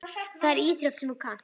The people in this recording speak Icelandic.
Það er íþrótt sem þú kannt.